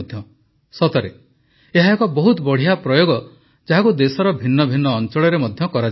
ସତରେ ଏହା ଏକ ବହୁତ ବଢ଼ିଆ ପ୍ରୟୋଗ ଯାହାକୁ ଦେଶର ଭିନ୍ନ ଭିନ୍ନ ଅଂଚଳରେ ମଧ୍ୟ କରାଯାଇପାରିବ